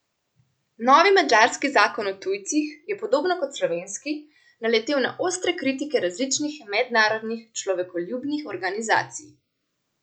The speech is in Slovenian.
Novi madžarski zakon o tujcih je, podobno kot slovenski, naletel na ostre kritike različnih mednarodnih človekoljubnih organizacij.